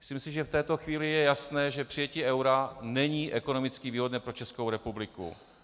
Myslím si, že v této chvíli je jasné, že přijetí eura není ekonomicky výhodné pro Českou republiku.